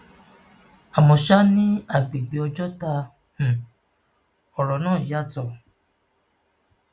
àmọ sá ní àgbègbè ọjọta um ọrọ náà yàtọ